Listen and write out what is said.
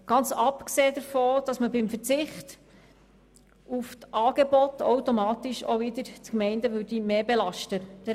Ganz abgesehen davon, dass man beim Verzicht auf die Angebote automatisch wiederum die Gemeinden mehr belasten würde.